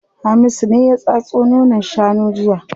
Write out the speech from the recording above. Hamisu ne ya tatso nonon shanun jiya.